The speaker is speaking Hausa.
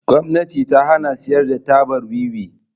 Gwamnati ta hana siyar da tabar Wiwi.